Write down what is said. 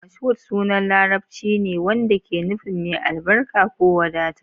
Mashood sunan Larabci ne wanda ke nufin "mai albarka" ko "wadata".